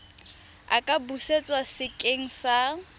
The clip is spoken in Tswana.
a ka busetswa sekeng sa